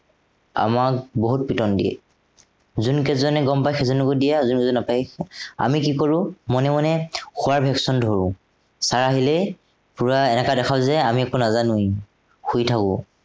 আমাক বহুত পিটন দিয়ে। যোনকেইজনে গম পাই সেইজনকো দিয়ে আৰু যোনে যোনে নাপায়, আমি কি কৰো মনে মনে শুৱাৰ ভেকশন ধৰো। sir আহিলে পোৰা এনেকুৱা দেখাও যে আমি একো নাজানোৱেই। শুই থাকো।